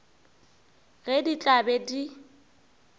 ge di tla be di